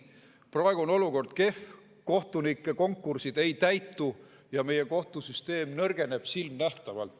Praegu on olukord kehv, kohtunike konkursid ei täitu ja meie kohtusüsteem nõrgeneb silmanähtavalt.